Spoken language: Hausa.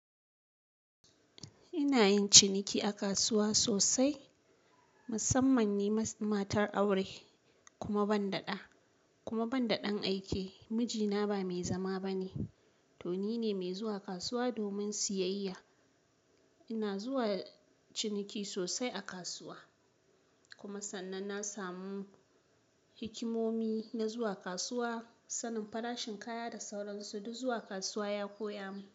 Ina yin ciniki a kasuwa sosai, musamman ni matar aure kuma ban da ɗa, kuma ban da ɗan aike. Mijina ba mai zama ba ne, to ni ne mai zuwa kasuwa domin siyayya. Ina zuwa ciniki sosai a kasuwa kuma sannan na samu hikimomi na zuwa kasuwa, sanin farashin kaya da sauransu. Duk zuwa kasuwa ya koya mun.